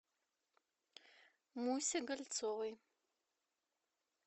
мусе гольцовой